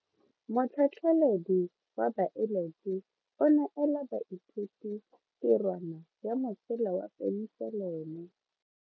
Motlhatlhaledi wa baeloji o neela baithuti tirwana ya mosola wa peniselene.